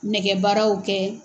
Nɛgɛbaaraw kɛ.